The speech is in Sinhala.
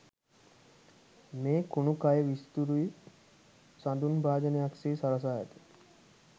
මේ කුණුකය විසිතුරු සඳුන් භාජනයක් සේ සරසා ඇත